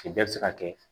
Kile bɛɛ bi se ka kɛ